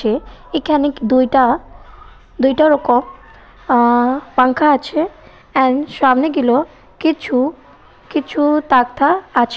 খেয়ে এখানেক দুইটা দুইটা রকম পাঙ্খা আছে এন্ড সামনে গিলো কিছু কিছু তারটার আছে।